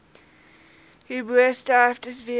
hierbo sterftes weens